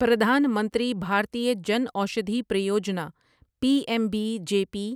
Pradhan Mantri Bhartiya Jan Aushadhi Pariyojana P M B J P